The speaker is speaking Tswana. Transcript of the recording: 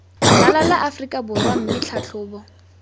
ralala aforika borwa mme tlhatlhobo